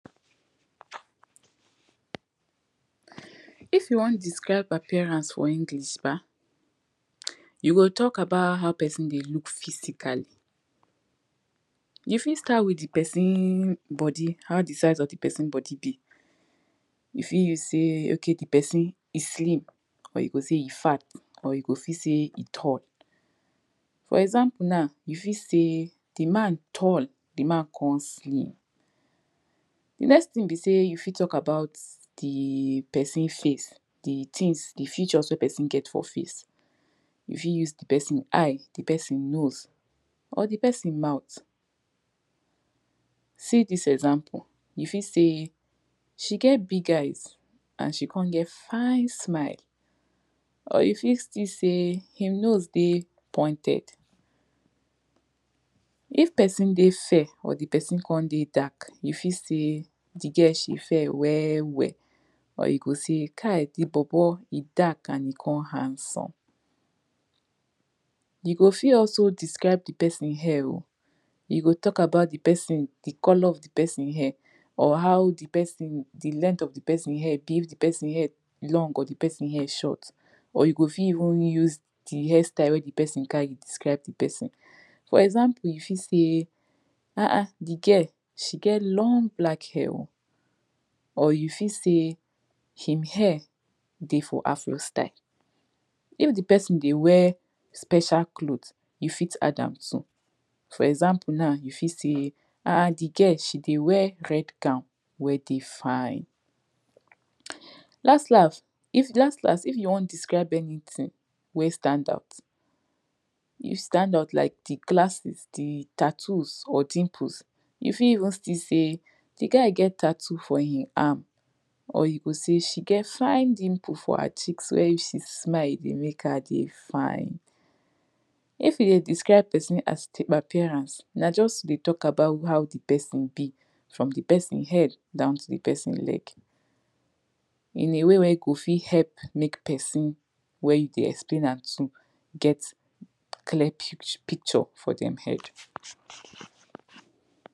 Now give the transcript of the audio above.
if you want describe appreance for English bah, you go talk about how person dey look physically. you fit start with the person body, how di size of di person body be. you fit use say okay di person e slim or you go say e fat or you go say e tall. for example now, you fit say the man tall, the man come slim. di next thing be sey you fit talk about di person face, di things di features wey person get for face. you fit use di person eye, di person nose or di person mouth. see dis example you fit say, she get big eyes and she come get fine smile. or you fit still say, him nose dey pointed. if di person dey fair or di person come dey dark, you fit say di girl she fair well well. or you go say kai di bobo he dark and he come handsome. you go fit also describe di person hair oh, you go talk about di person di colour of di person hair or how di person di length of di person hair dey, if di person hair long or if di person hair short. or you go fit even use di hair style wey di person carry describe di person. for example you fit say, ahn ahn di girl she get long black hair oh, or you fit say she hair dey for afro style if di person dey wear special clothes you fit add am too. for example now you fit say ahn ahn di girl she dey wear red gown wey dey fine. [2] las las if you want describe anything wey stand out, you stand out like di glasses, di tattoos or dimples, you fit even say di guy get tattoo for him arm. or you go say she get fine dimples for her cheeks wen if she smile, e dey make her dey fine. if you dey describe person as di appearance, na just to dey talk about how di person be from di person head down to di person leg. in a way wey you go fit help make person wen you dey explain am to get clear pict picture for dem head.